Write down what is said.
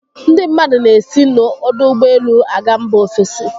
Ndị mmadụ na-esi n'ọdọụgbọelu a ga mba ofesi.